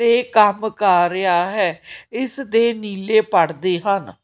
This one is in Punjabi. ਤੇ ਕੰਮ ਕਰ ਰਿਹਾ ਹੈ ਇਸ ਦੇ ਨੀਲੇ ਪਰਦੇ ਹਨ।